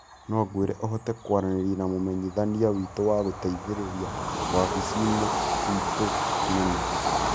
No ngwĩre ũhote kwaranĩria na mũmenyithania witũ wa gũteithĩrĩria wabici-inĩ itũ nene?